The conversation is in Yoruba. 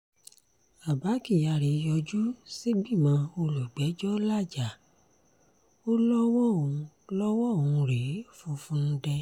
abba kyari yọjú sígbìmọ̀ olùgbẹ́jọ́ làájá ó lọ́wọ́ òun lọ́wọ́ òun rèé funfun nǹdè